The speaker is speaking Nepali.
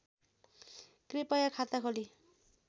कृपया खाता खोली